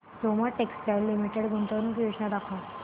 Soma textile limited गुंतवणूक योजना दाखव